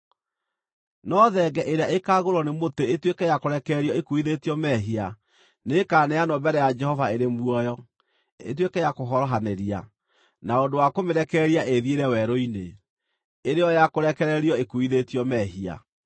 No thenge ĩrĩa ĩkaagũĩrwo nĩ mũtĩ ĩtuĩke ya kũrekererio ĩkuuithĩtio mehia nĩĩkaneanwo mbere ya Jehova ĩrĩ muoyo, ĩtuĩke ya kũhorohanĩria, na ũndũ wa kũmĩrekereria ĩĩthiĩre werũ-inĩ, ĩrĩ yo ya kũrekererio ĩkuuithĩtio mehia.